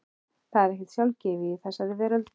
Það er ekkert sjálfgefið í þessari veröld.